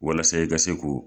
Walasa i ka ko